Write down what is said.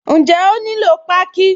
Ǹjẹ́ ó nílò páákí?